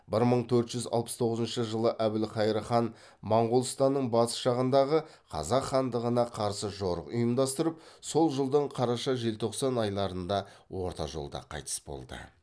бір мың төрт жүз алпыс тоғызыншы жылы әбілқайыр хан моғолстанның батыс жағындағы қазақ хандығына қарсы жорық ұйымдастырып сол жылдың қараша желтоқсан айларында орта жолда қайтыс болды